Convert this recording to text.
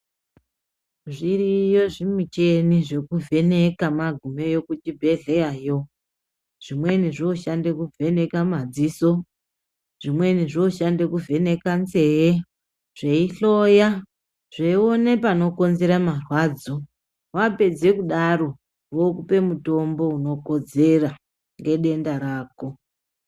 Zviriyo zvimicheni zvekuvheneka magumeyo kuzvibhedhleyayo. Zvimweni zvinoshande kuvheneka madziso zvimweni zvinoshande kuvheneka nzee zveihloya zveione panokonzera marwadzo vapedze kudaro vokupe mutombo unokodzera nedenda rako.